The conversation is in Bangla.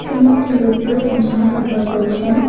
তিনি একটি লেগ প্রেস মেশিন ব্যবহার করছেন।